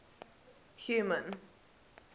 human